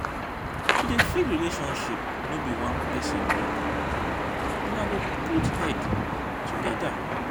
to dey fix relationship no be one pesin work una go put head togeda.